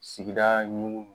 Sigida ɲugun